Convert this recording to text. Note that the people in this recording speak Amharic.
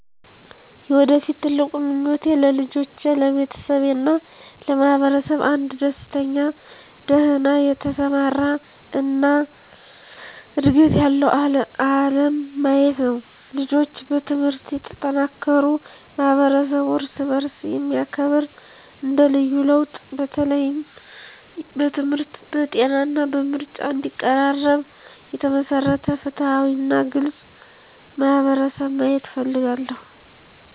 የወደፊት ትልቁ ምኞቴ ለልጆቼ፣ ለቤተሰቤ እና ለማህበረሰብ አንድ ደስተኛ፣ ደህና የተሰማራ እና ዕድገት ያለው ዓለም ማየት ነው። ልጆች በትምህርት የተጠናከሩ፣ ማህበረሰቡ እርስ በእርስ የሚያከብር እንደ ልዩ ለውጥ፣ በተለይም በትምህርት፣ በጤና እና በምርጫ እንዲቀራረብ የተመሰረተ ፍትሃዊ እና ግልጽ ማህበረሰብ ማየት እፈልጋለሁ።